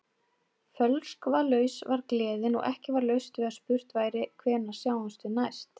Fölskvalaus var gleðin og ekki var laust við að spurt væri: Hvenær sjáumst við næst?